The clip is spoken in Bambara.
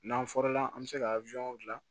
N'an fɔra an bɛ se ka gilan